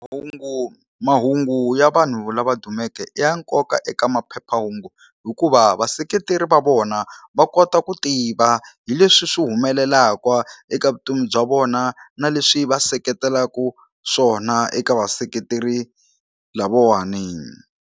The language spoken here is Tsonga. Hungu mahungu ya vanhu lava dumeke i ya nkoka eka maphephahungu hikuva vaseketeri va vona va kota ku tiva hi leswi swi humelelaka eka vutomi bya vona na leswi va seketelaku swona eka vaseketeri lavawani.